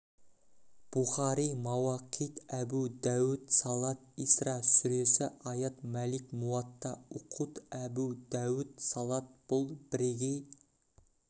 бухари мауақит әбу дәәуд салат исра сүресі аят малик муатта уқут әбу дәәуд салат бұл бірегей